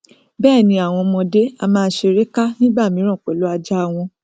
bẹẹni àwọn ọmọdé a máa ṣeré ká nígbàmíràn pẹlú ajá a wọn